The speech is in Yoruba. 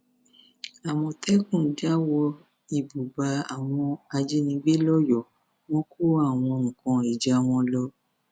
àmọtẹkùn já wọ ìbúbá àwọn ajínigbé lọyọọ wọn kó àwọn nǹkan ìjà wọn lọ